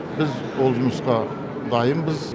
біз ол жұмысқа дайынбыз